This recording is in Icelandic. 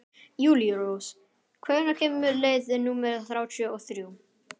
Júlírós, hvenær kemur leið númer þrjátíu og þrjú?